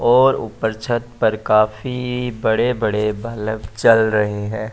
और ऊपर छत पर काफी बड़े-बड़े बलब चल रहे हैं।